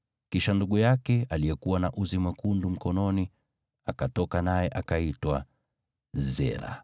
Kisha ndugu yake, aliyekuwa na uzi mwekundu mkononi, akatoka, naye akaitwa Zera.